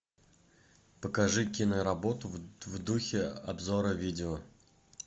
покажи киноработу в духе обзора видео